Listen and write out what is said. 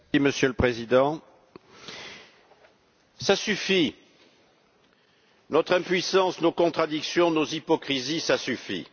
Monsieur le Président, cela suffit, notre impuissance, nos contradictions, nos hypocrisies, cela suffit!